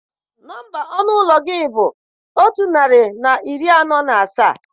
Nọmba ọnụ ụlọ gị bụ otu narị na iri anọ na asaa